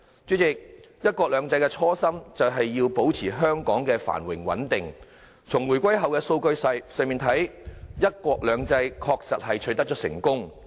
主席，"一國兩制"的初心就是要保持香港的繁榮穩定，從回歸後的數據來看，"一國兩制"確實取得了成功。